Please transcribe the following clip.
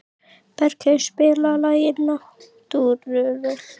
Bergheiður, spilaðu lagið „Næturrölt“.